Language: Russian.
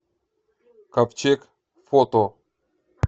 ковчег фото